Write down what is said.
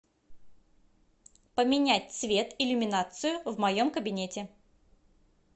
поменять цвет иллюминацию в моем кабинете